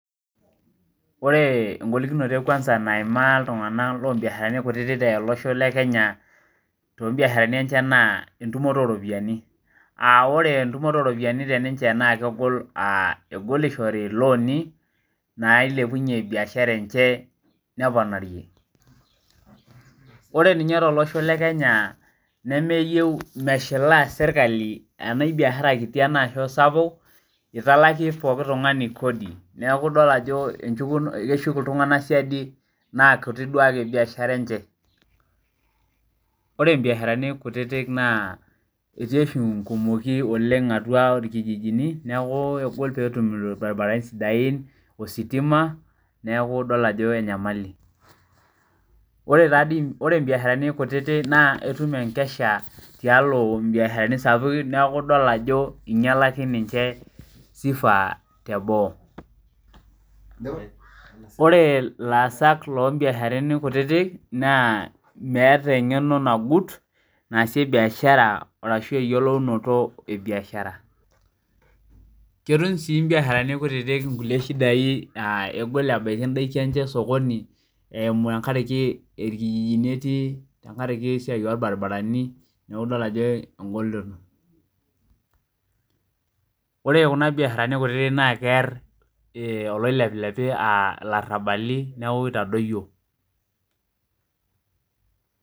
Ore egolikinoto ekwansa naimaa iltung'anak lobiasharani kutitik tolosho le Kenya, tobiasharani enchan naa entumoto oropiyiani. Ore entumoto oropiyiani teninche na kegol sh egol ishori iloni, nailepunye biashara enche neponarie. Ore ninye tolosho le Kenya, nemeyieu meshilaa sirkali ena kabiashara kiti ena kesapuk, italaki pooki tung'ani kodi. Neeku idol ajo keshuk iltung'anak siadi na kutik duo ake biashara enche. Ore ibiasharani kutitik naa etii oshi inkumoki oleng atua irkijijini, neeku egol petum irbaribarani sidain, ositima. Neeku idol ajo enyamali. Ore ibiasharani kutitik naa etum enkesha tialo ibiasharani sapukin neeku idol ajo inyalaki ninche sifa teboo. Ore ilaasak lobiasharani kutitik, naa meeta eng'eno nagut naasie biashara arashu eyiolounoto ebiashara. Ketum si ibiasharani kutitik inkulie shidai ah egol ebaiki idaiki enche esokoni eimu tenkariki irkijijini etii, tenkaraki esiai orbaribarani, neeku idol ajo egoloto. Ore kuna biasharani kutitik na keer oloilepilepi ilarrabali neeku itadoyio.